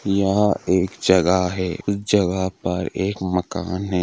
यह एक जगह है जगह--